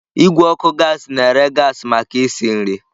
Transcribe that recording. Igwe ọkụ gaasị na-ere gaasị maka isi nri.